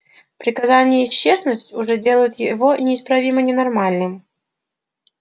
приказание исчезнуть уже делает его неисправимо ненормальным